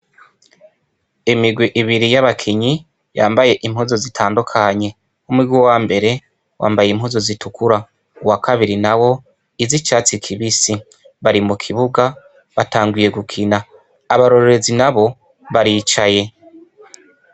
Imirwi ibiri y'abakinyi bambaye impuzu zitandukanye. Umurwi wa mbere wambaye impuzu zitukura, uwa kabiri nawo iz'icatsi kibisi. Bari mu kibuga batanguye gukina. Abarorerezi nabo baricaye.